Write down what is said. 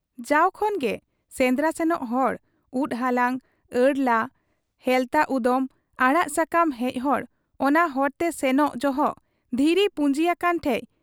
ᱡᱟᱣ ᱠᱷᱚᱱ ᱜᱮ ᱥᱮᱸᱫᱽᱨᱟ ᱥᱮᱱᱚᱜ ᱦᱚᱲ, ᱩᱫ ᱦᱟᱞᱟᱝ, ᱟᱹᱲᱩ ᱞᱟ, ᱦᱮᱞᱛᱟ ᱩᱫᱚᱢ, ᱟᱲᱟᱜ ᱥᱟᱠᱟᱢ ᱦᱮᱡ ᱦᱚᱲ ᱚᱱᱟ ᱦᱚᱨᱛᱮ ᱥᱮᱱᱚᱜ ᱡᱚᱦᱚᱜ ᱫᱷᱤᱨᱤ ᱯᱩᱸᱡᱤ ᱟᱠᱟᱱ ᱴᱷᱮᱫ